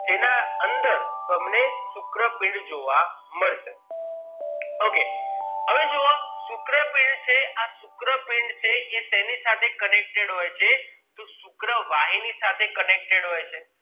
જેના અંદર તમને શુક્ર પીંડ જોવા મળશ okay હવે જોવો શુક્રપીંડ છે એ આ શુક્રપીંડ છે એ શેની સાથે connected હોય છે તો શુક્રવાહિની સાથે connected હોય છે